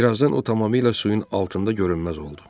Birazdan o tamamilə suyun altında görünməz oldu.